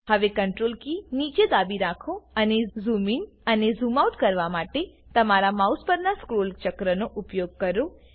હવે Ctrl key નીચે દાબી રાખો અને ઝૂમ ઇન અને ઝૂમ આઉટ કરવા માટે તમારા માઉસ પરનાં સ્ક્રોલ ચક્રનો ઉપયોગ કરો